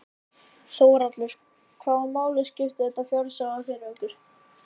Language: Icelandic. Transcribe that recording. Þórhallur: Hvaða máli skiptir þetta fjárhagslega fyrir okkur?